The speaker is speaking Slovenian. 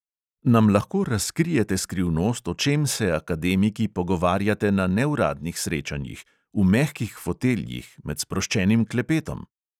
Nam lahko razkrijete skrivnost, o čem se akademiki pogovarjate na neuradnih srečanjih, v mehkih foteljih, med sproščenim klepetom?